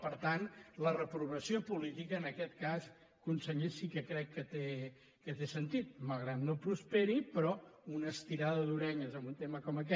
per tant la reprovació política en aquest cas conseller sí que crec que té sentit malgrat que no prosperi però una estirada d’orelles en un tema com aquest